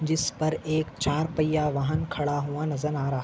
जिसपर एक चार पय्या वाहन खड़ा हुआ नजर आ रहा--